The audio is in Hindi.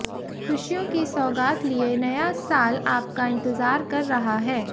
ख़ुशियों की सौगात लिए नया साल आपका इंतज़ार कर रहा है